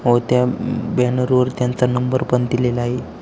व त्या बॅनर वरती त्यांचा नंबर पण दिलेला आहे.